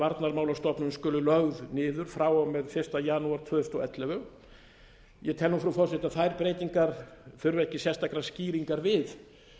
varnarmálastofnun skuli lögð niður frá og með fyrsta janúar tvö þúsund og ellefu ég tel nú frú forseti að þær breytingar þurfi ekki sérstakra skýringa við